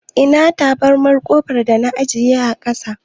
Ina tabarmar ƙofar da na ajiye a ƙasa.